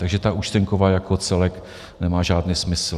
Takže ta účtenkovka jako celek nemá žádný smysl.